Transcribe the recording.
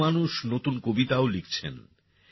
বহু মানুষ নতুন কবিতাও লিখছেন